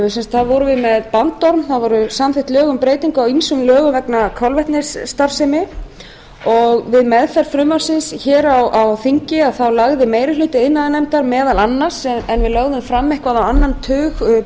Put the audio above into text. vorum við með bandorm það voru samþykkt lög um breytingu á ýmsum lögum vegna kolvetnisstarfsemi við meðferð frumvarpsins hér á þingi lagði meiri hluti iðnaðarnefndar meðal annars en við lögðum til eitthvað á annan til breytingartillagna